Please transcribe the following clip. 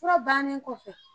Fura bannen kɔfɛ